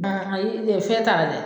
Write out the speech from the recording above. An ayi e fɛn t'a la dɛ